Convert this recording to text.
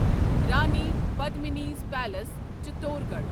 Rani Padmini's palace Chittorgarh